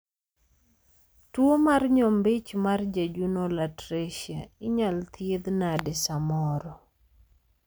tuo mar nyombich mar jejunal atresia inyal thiedh nade samoro?